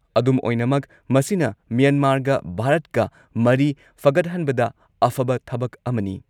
ꯑꯗꯨꯝꯑꯣꯏꯅꯃꯛ, ꯃꯁꯤꯅ ꯃ꯭ꯌꯥꯟꯃꯥꯔꯒ ꯚꯥꯔꯠꯀ ꯃꯔꯤ ꯐꯒꯠꯍꯟꯕꯗ ꯑꯐꯕ ꯊꯕꯛ ꯑꯃꯅꯤ ꯫